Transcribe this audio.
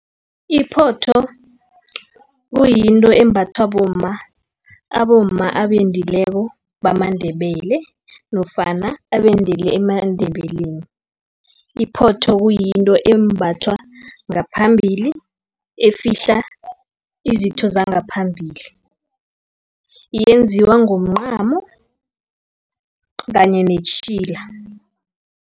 Iphotho, kuyinto embathwa bomma, abomma abendileko bamaNdebele, nofana abendele emaNdebeleni. Iphotho kuyinto embathwa ngaphambili, efihla izitho zangaphambili. Yenziwa ngomncamo, kanye netjhila.